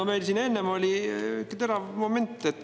No meil siin enne oli terav moment.